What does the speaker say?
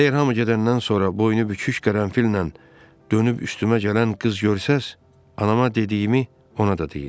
Əgər hamı gedəndən sonra bu oyunu bükük qərənfillə dönüb üstümə gələn qız görsəz, anama dediyimi ona da deyin.